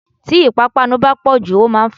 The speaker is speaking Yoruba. Tí ipapanu bá pọ̀jù, ó máa ń fa jẹdi.